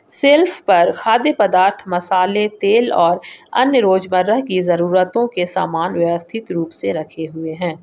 Self पर खाद्य पदार्थ मसाले तेल और अन्य रोज मर्रा की जरूरतों के सामान व्यवस्थित रूप से रखे हुए है।